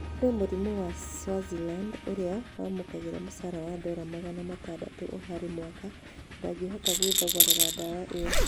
Kũrĩ mũrĩmi wa Swaziland ũrĩa wamũkagĩra mũchara wa dola magana matandatu oharĩ mwaka ndangĩhota gwĩthogorera ndawa ĩyo